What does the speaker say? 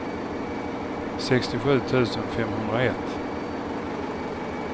sextiosju tusen femhundraett